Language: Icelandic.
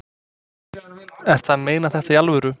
Ertu að meina þetta í alvöru?